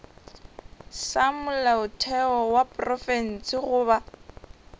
sa molaotheo wa profense goba